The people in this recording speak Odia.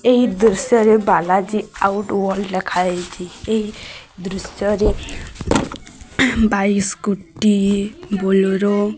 ଏହି ଦୃଶ୍ୟରେ ବାଲାଜୀ ଆଉଟ୍ ୱାଇଲ୍ଡ ଲେଖା ଯାଇଚି। ଏହି ଦୃଶ୍ୟରେ ବାଇଶି କୋଟି ବୋଲେରୋ --